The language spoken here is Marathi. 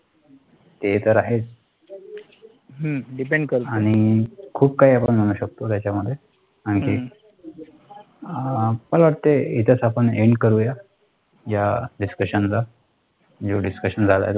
ते तर आहेच, आणि खूप काही आपण म्हणू शकतो त्याच्यामध्ये, आणखी, मला वाटतंय इथेच आपण end करूयात या discussion चा.